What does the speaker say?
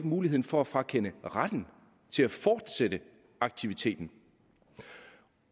muligheden for at frakende retten til at fortsætte aktiviteten